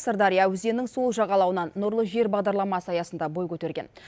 сырдария өзенінің сол жағалауынан нұрлы жер бағдарламасы аясында бой көтерген